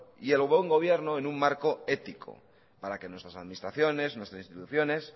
y el buen gobierno en un marco ético para que nuestras administraciones nuestras instituciones